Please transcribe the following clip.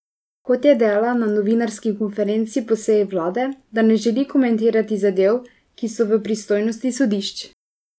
Kot je dejala na novinarski konferenci po seji vlade, da ne želi komentirati zadev, ki so v pristojnosti sodišč.